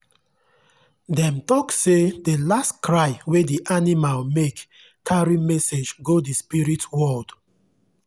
dem talk say the last cry wey the animal make carry message go the spirit world.